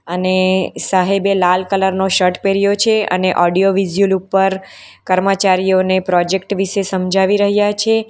અને સાહેબે લાલ કલરનો શર્ટ પહેર્યો છે અને ઓડિયો વીઝ્યુલ ઉપર કર્મચારીઓને પ્રોજેક્ટ વિશે સમજાવી રહ્યા છે.